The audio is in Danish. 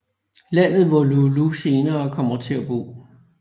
Landet hvor Loulou senere kommer til at bo